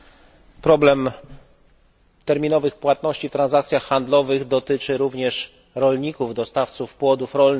Problem terminowych płatności w transakcjach handlowych dotyczy również rolników, dostawców płodów rolnych.